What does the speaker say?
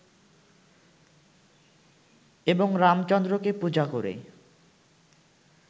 এবং রামচন্দ্রকে পূজা করে